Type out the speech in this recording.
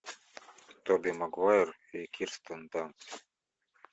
тоби магуайр и кирстен данст